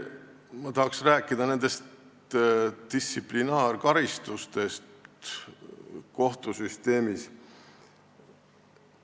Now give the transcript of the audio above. Ma tahaks rääkida distsiplinaarkaristustest kohtusüsteemis.